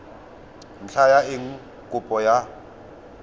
ntlha ya eng kopo ya